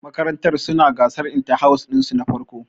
Makarantar su na gasar inta-house ɗin su na farko